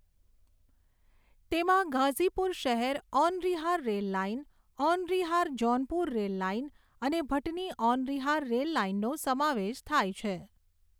તેમાં ગાઝીપુર શહેર Aunrihar rail line, Aunrihar Jaunpur rail line અને ભટની ઔનરિહાર રેલ લાઇનનો સમાવેશ થાય છે.